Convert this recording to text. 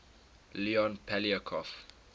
leon poliakov